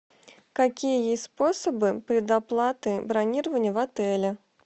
какие есть способы предоплаты бронирования в отеле